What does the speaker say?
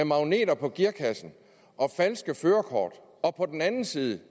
magneter på gearkassen og falske førerkort og på den anden side det